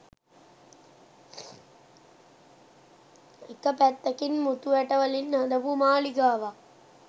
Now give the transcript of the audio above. එක පැත්තකින් මුතු ඇට වලින් හදපු මාළිගාවක්